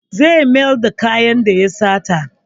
Zai mayar da kayan da ya sata.